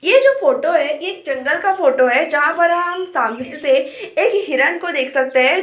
ये जो फोटो है ये एक जंगल का फोटो है जहाँ पर हम सामने से एक हिरन को देख सकते हैं जो कि।